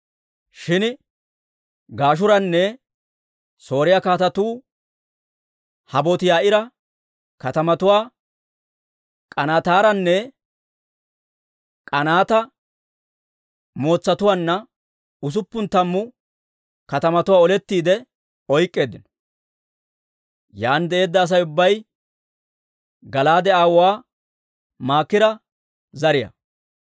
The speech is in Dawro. Shin Gashuuranne Sooriyaa kaatetuu Habooti-Yaa'iira katamatuwaa K'anaataanne aa heeratuwaa usuppun tammu katamatuwaa olettiide oyk'k'eeddino; yaan de'eedda Asay ubbay Gala'aade aawuwaa Maakira zariyaa.